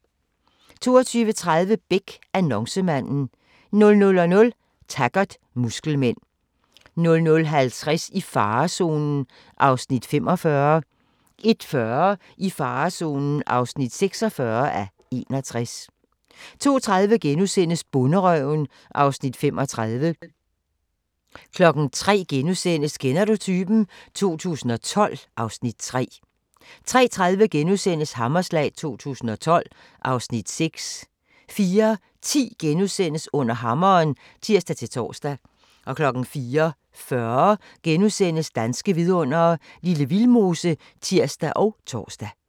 22:30: Beck: Annoncemanden 00:00: Taggart: Muskelmænd 00:50: I farezonen (45:61) 01:40: I farezonen (46:61) 02:30: Bonderøven (Afs. 35)* 03:00: Kender du typen? 2012 (Afs. 3)* 03:30: Hammerslag 2012 (Afs. 6)* 04:10: Under hammeren *(tir-tor) 04:40: Danske vidundere: Lille Vildmose *(tir og tor)